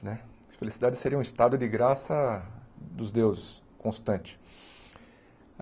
Né a felicidade seria um estado de graça dos deuses, constante.